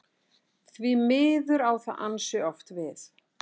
Því miður á það ansi oft við.